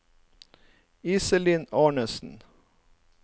Iselin Arnesen